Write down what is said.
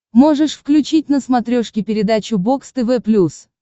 можешь включить на смотрешке передачу бокс тв плюс